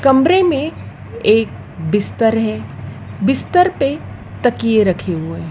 कमरे मे एक बिस्तर है बिस्तर पे तकिये रखे हुए हैं।